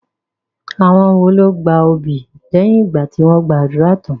Àwọn wo ló gba obì lẹ́yìn ìgbà tí wọ́n gba ádùrá tán?